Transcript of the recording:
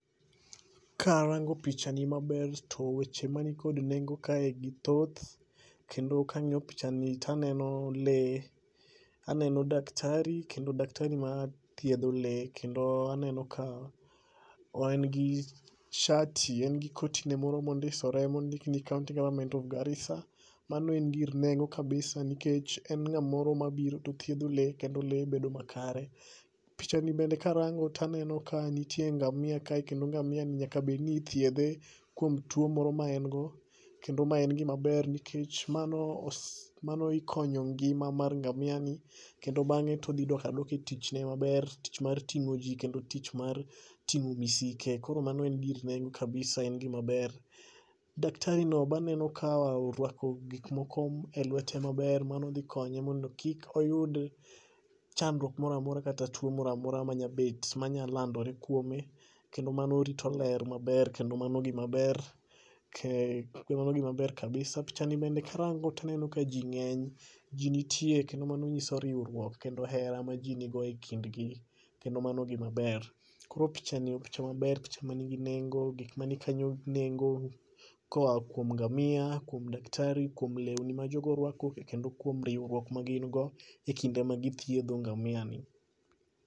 Ka arango picha ni maber to weche mani kod nengo kae gi thoth, kendo kang'iyo picha ni taneno le, aneno daktari kendo daktari ma thiedho le. Kendo aneno ka en gi shati, en gi kotine moro mondiosore mondikni county government of Garissa. Mano en gir nengo kabisa nikech en ng'amoro ma biro to thiedho le kendo le bedo makare. Picha ni bende karango taneno ka nitie ngamia ka e kendo ngamia ni nyaka bed ni ithiedhe kuom tuo moro ma en go. Kendo ma en gima ber, nikech mano ikonyo ngima mar ngamia ni kendo bang'e todhidok adoka e tichne maber. Tich mar ting'o ji kendo tich mar ting'o misike, koro mano en gir nengo kabisa en gima ber. Daktari no baneno ka orwako gik moko e lwete maber mano dhi konye mondo kik oyud chandruok moramora kata tuo moramora manyabet manya landore kuome. Kendo mano rito ler maber kendo mano gima ber, kendo mano gima ber, ke kendo mano gima ber kabisa. Picha ni bende karango taneno ka ji ng'eny, ji nitie kendo mano ng'iso riwruok kendo hera ma ji nigo e kindgi. Kendo mano gima ber, koro picha ni o picha maber o picha manigi nengo, gik ma ni kanyo nengo. Koa kuom ngamia, kuom daktari, kuom lewni ma jogo orwako, to kendo kuom riwruok ma gin go e kinde ma githiedho ngamia ni.